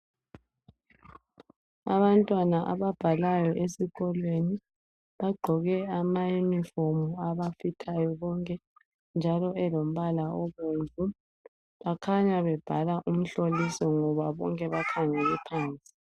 Abantwana ababhalayo esikolweni ,bagqoke amayunifomu abafithayo bonke, njalo elombala obomvu. Bakhanya bebhala umhloliso ngoba bonke bakhangele phansi.